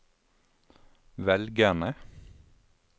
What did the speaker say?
velgerne